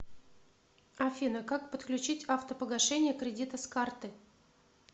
афина как подключить автопогашение кредита с карты